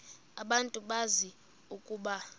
abantu bazi ukuba